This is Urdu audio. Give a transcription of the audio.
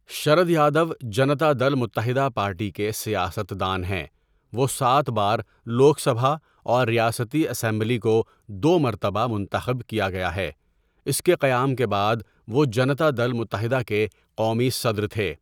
شرد یادو جنتا دل متحدہ پارٹی کے سیاست دان ہیں وہ سات بار لوک سبھا اور ریاستی اسمبلی کو دو مرتبہ منتخب کیا گیا ہےْاس کے قیام کے بعد وہ جنتا دل متحدہ کے قومی صدر تھے.